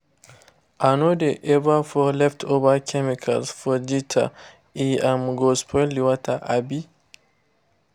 i no dey ever pour leftover chemical for gutter—e um go spoil water. um